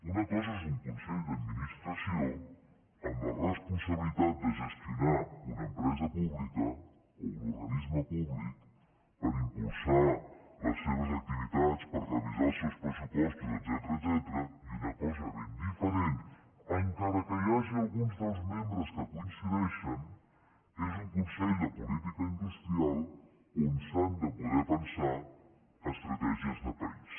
una cosa és un consell d’administració amb la responsabilitat de gestionar una empresa pública o un organisme públic per impulsar les seves activitats per revisar els seus pressupostos etcètera i una cosa ben diferent encara que hi hagi alguns dels membres que coincideixen és un consell de política industrial on s’han de poder pensar estratègies de país